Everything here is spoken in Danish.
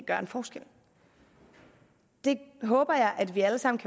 gøre en forskel jeg håber at vi alle sammen